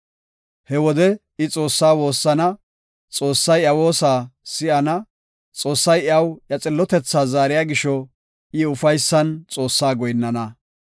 He wode I Xoossaa woossana; Xoossay iya woosa si7ana; Xoossay iyaw iya xillotethaa zaariya gisho, I ufaysan Xoossaa goyinnana.